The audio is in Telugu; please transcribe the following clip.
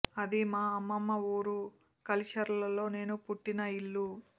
అది మా అమ్మమ్మ ఊరు కలిచెర్లలో నేను పుట్టిన ఇల్లు